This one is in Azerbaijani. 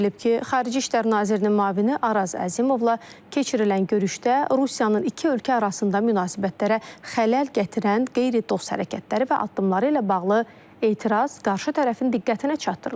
Bildirilib ki, Xarici İşlər nazirinin müavini Araz Əzimovla keçirilən görüşdə Rusiyanın iki ölkə arasında münasibətlərə xələl gətirən qeyri-dost hərəkətləri və addımları ilə bağlı etiraz qarşı tərəfin diqqətinə çatdırılıb.